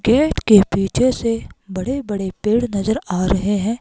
Gate के पीछे से बड़े बड़े पेड़ नजर आ रहे हैं।